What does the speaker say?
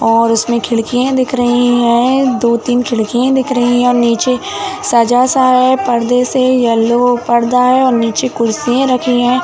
और उसमे खिड़कियां दिख रही है। दो तीन खिड़किया दिख रही है और नीचे सजा सा है। पर्दा से येलो पर्दा है। नीचे कुर्सियां रखी हैं।